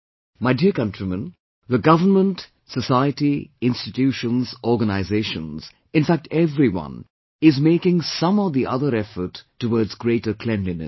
My dear countrymen, the government, society, institutions, organizations, in fact everyone, is making some or the other effort towards greater cleanliness